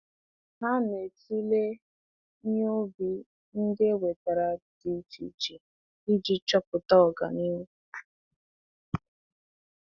Ha na-tulee ihe ubi ndị e wetara dị iche iche iji chọpụta ọganihu.